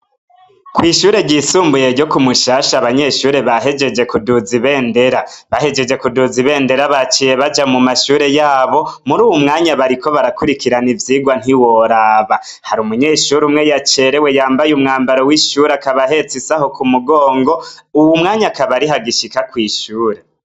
Kw'ishure ryisumbuye ryo ku mushasha abanyeshure bahejeje kuduza ibendera bahejeje kuduza ibendera baciye baja mu mashure yabo muri uwu mwanya bariko barakurikirana ivyirwa ntiworaba hari umunyeshure umwe yacerewe yambaye umwambaro w'ishuri akabahetse isaho ku mugongo uwu mwanya akabari ha gishika kw'ishure.